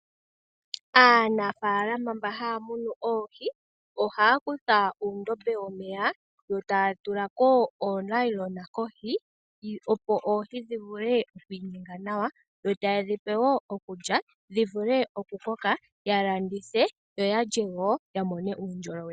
Aanafaalama mba haya munu oohi ohaya longekidha uundombe womeya yo taya tula ko oonayilona kohi opo oohi dhi vule oku inyenga nawa yo taye dhi pe wo okulya dhi vule okukoka ya landithe yo ya lye wo ya mone uundjolowele.